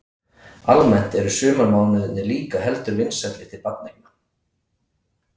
Almennt eru sumarmánuðirnir líka heldur vinsælli til barneigna.